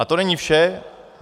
A to není vše.